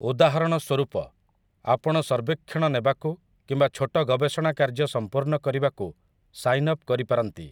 ଉଦାହରଣ ସ୍ୱରୂପ, ଆପଣ ସର୍ବେକ୍ଷଣ ନେବାକୁ କିମ୍ବା ଛୋଟ ଗବେଷଣା କାର୍ଯ୍ୟ ସମ୍ପୂର୍ଣ୍ଣ କରିବାକୁ ସାଇନ୍ଅପ୍ କରିପାରନ୍ତି ।